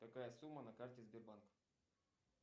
какая сумма на карте сбербанка